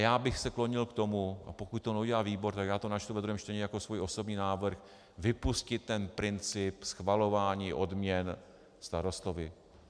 Já bych se klonil k tomu - a pokud to neudělá výbor, tak já to načtu ve druhém čtení jako svůj osobní návrh - vypustit ten princip schvalování odměn starostovi.